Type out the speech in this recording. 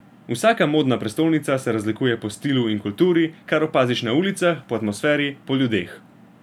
Vsaka modna prestolnica se razlikuje po stilu in kulturi, kar opaziš na ulicah, po atmosferi, po ljudeh.